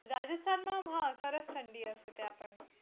રાજસ્થાન માં હા સરસ ઠંડી હશે ત્યાં પણ.